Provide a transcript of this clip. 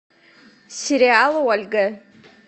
сериал ольга